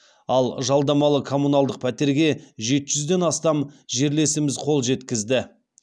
ал жалдамалы коммуналдық пәтерге жеті жүзден астам жерлесіміз қол жеткізді